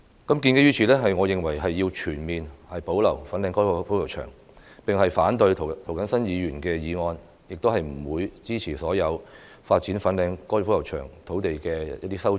因此，我認為要全面保留粉嶺高爾夫球場，反對涂謹申議員的議案，也不會支持所有發展粉嶺高爾夫球場土地的修正案。